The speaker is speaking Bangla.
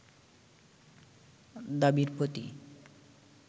দাবির প্রতি